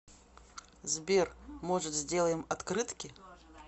сбер может сделаем открытки